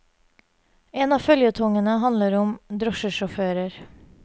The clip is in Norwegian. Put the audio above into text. En av føljetongene handler om drosjesjåfører.